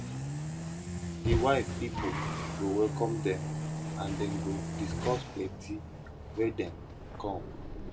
di wife pipol go welcome dem and dem go discuss plenti why dem kom